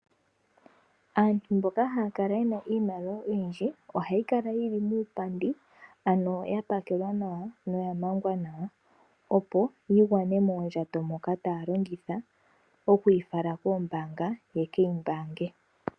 Aantu mboka haya kala yena iimaliwa oyindji. Ohayi kala yili muupandi ano ya pakelwa nawa na oya mangwa nawa, opo yigwane moondjato moka taya longitha, okuyi fala koombanga yekeyi mbange.